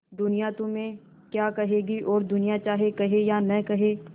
दुनिया तुम्हें क्या कहेगी और दुनिया चाहे कहे या न कहे